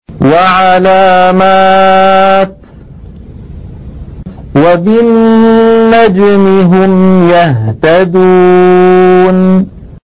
وَعَلَامَاتٍ ۚ وَبِالنَّجْمِ هُمْ يَهْتَدُونَ